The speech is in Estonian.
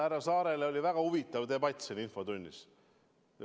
Härra Saarega oli väga huvitav debatt siin infotunnis.